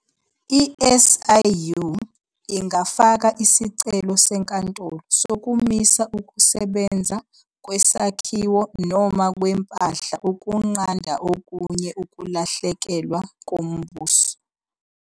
I-SIU ingafaka isicelo senkantolo sokumisa ukusebenza kwesakhiwo noma kwempahla ukunqanda okunye ukulahlekelwa koMbuso.